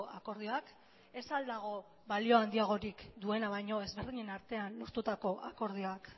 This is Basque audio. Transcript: akordioak ez al dago balio handiagorik duena baino ezberdinen artean lortutako akordioak